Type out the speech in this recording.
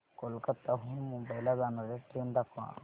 कोलकाता हून मुंबई ला जाणार्या ट्रेन दाखवा